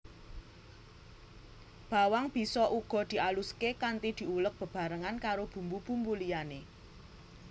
Bawang bisa uga dialuské kanthi diuleg bebarengan karo bumbu bumbu liyané